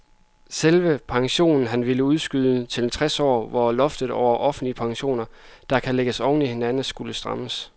Selve pensionen ville han udskyde til tres år, hvor loftet over offentlige pensioner, der kan lægges oven i hinanden, skulle strammes.